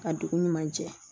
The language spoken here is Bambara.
Ka dugu ɲuman jɛ